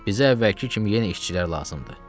Bizə əvvəlki kimi yenə işçilər lazımdır.